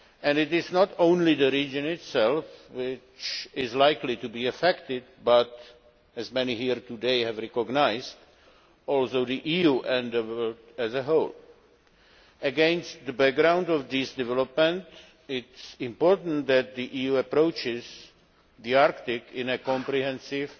It is not only the region itself which is likely to be affected but, as many here today have recognised, also the EU as a whole. Against the background of these developments it is important that the EU approaches the Arctic in a comprehensive